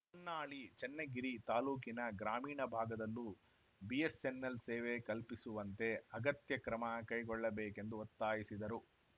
ಹೊನ್ನಾಳಿ ಚನ್ನಗಿರಿ ತಾಲೂಕಿನ ಗ್ರಾಮೀಣ ಭಾಗದಲ್ಲೂ ಬಿಎಸ್ಸೆನ್ನೆಲ್‌ ಸೇವೆ ಕಲ್ಪಿಸುವಂತೆ ಅಗತ್ಯ ಕ್ರಮ ಕೈಗೊಳ್ಳಬೇಕೆಂದು ಒತ್ತಾಯಿಸಿದರು